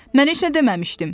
Mən heç nə deməmişdim.